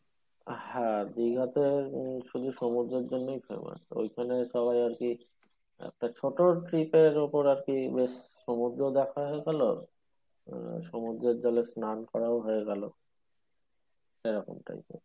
হ্যাঁ দীঘা তে উম শুধু সমুদ্রের জন্যই famous ওইখানে সবাই আরকি একটা ছোট trip এর উপর আরকি বেশ সমুদ্র দেখা হয়ে গেলো সমুদ্রের জলে স্নান করাও হয়ে গেলো এরকম type এর